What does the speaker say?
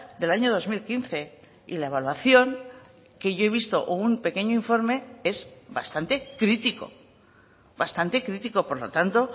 del año dos mil quince y la evaluación que yo he visto o un pequeño informe es bastante crítico bastante crítico por lo tanto